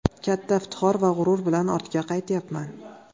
Katta iftixor va g‘urur bilan ortga qaytyapman.